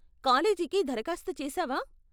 కాలేజికి దరఖాస్తు చేసావా?